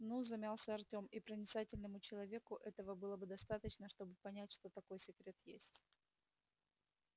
ну замялся артем и проницательному человеку этого было бы достаточно чтобы понять что такой секрет есть